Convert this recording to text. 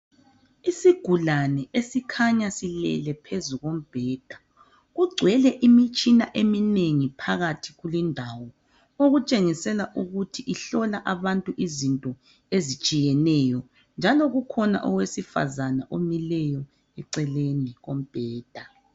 Isigulane esikhanya silele phezu kombheda kugcwele imitshina eminengi phakathi kulindawo okutshengisela ukuthi ihlola abantu izinto ezitshiyeneyo njalo kukhona owesifazana omileyo eceleni kombheda.